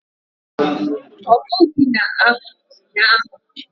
Ọ pụghị na anwụ ụnyaahụ